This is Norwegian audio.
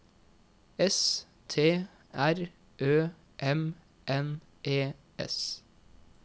S T R Ø M N E S